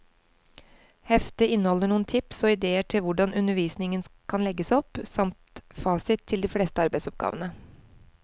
Heftet inneholder noen tips og idéer til hvordan undervisningen kan legges opp, samt fasit til de fleste arbeidsoppgavene.